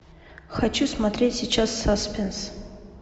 хочу смотреть сейчас саспенс